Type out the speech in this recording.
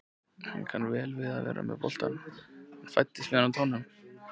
Hann kann vel við að vera með boltann, hann fæddist með hann á tánum.